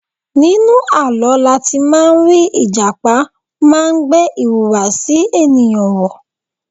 Nínú àlọ́ láti má rí Ìjàpá má gbé ìhùwàsí ènìyàn wọ̀.